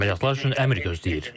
Əməliyyatlar üçün əmr gözləyir.